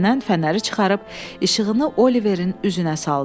və cibindən fənəri çıxarıb işığını Oliverin üzünə saldı.